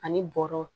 Ani bɔrɔ